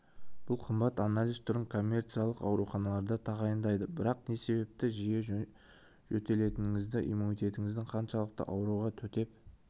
бұл қымбат анализ түрін коммерциялық ауруханаларда тағайындайды бірақ не себепті жиі жөтелетініңізді иммунитетіңіздің қаншалықты ауруға төтеп